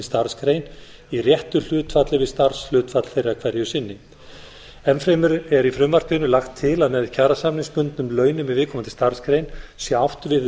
starfsgrein í réttu hlutfalli við starfshlutfall þeirra hverju sinni enn fremur er í frumvarpinu lagt til að með kjarasamningsbundnum launum í viðkomandi starfsgrein sé átt við